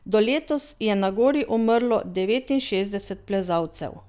Do letos je na gori umrlo devetinšestdeset plezalcev.